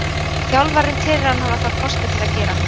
Þjálfarinn telur hann hafa þá kosti til að gera það.